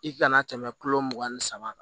I kana tɛmɛ kulo mugan ni saba kan